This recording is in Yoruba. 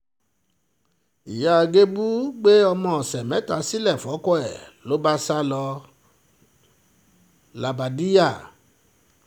ìyá gébù gbé ọmọ ọ̀sẹ̀ mẹ́ta sílẹ̀ fọ́kọ ẹ̀ ló bá sá lọ lápàdíjà